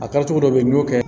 A kɛcogo dɔ bɛ ye n'o kɛ